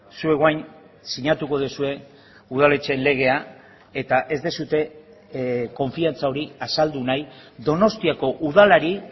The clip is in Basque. zuek orain sinatuko duzue udaletxeen legea eta ez duzue konfiantza hori azaldu nahi donostiako udalari